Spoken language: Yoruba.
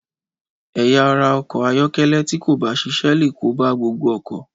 Ẹ̀yà ara ọkọ̀ ayọ́kẹ́lẹ́ tí kò bá ṣiṣẹ́ léè kó bá gbogbo ọkọ̀.